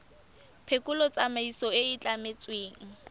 phekolo tsamaiso e e tlametsweng